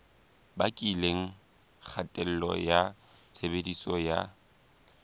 bakileng kgatello ya tshebediso ya